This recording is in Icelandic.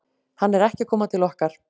Hann er ekki að koma til okkar.